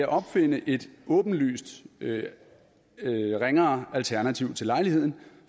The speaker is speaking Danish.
opfinde et åbenlyst ringere alternativ til lejligheden